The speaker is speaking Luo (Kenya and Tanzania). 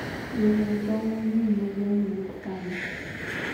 jonyie tong mangeny we gwengni wuok kanye?